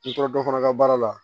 N'i taara dɔ fana ka baara la